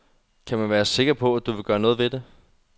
Kan man være sikker på, at du vil gøre noget ved det.